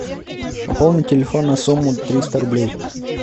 пополни телефон на сумму триста рублей